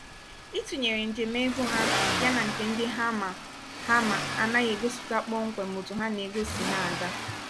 ịtụnyèrè njem ego ha ya nà nke ndị ha mà ha mà anaghị egosipụta kpọm kwem otú há nà ego si ná-aga.